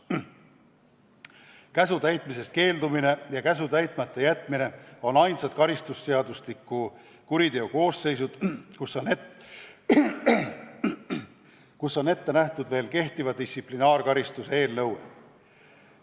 Käsu täitmisest keeldumine ja käsu täitmata jätmine on ainsad karistusseadustiku kuriteokoosseisud, mille puhul on ette nähtud veel kehtiva distsiplinaarkaristuse nõue.